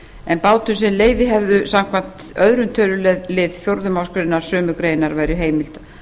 en bátum sem leyfi hefðu samkvæmt öðrum tölulið fjórðu málsgrein sömu greinar væri heimilt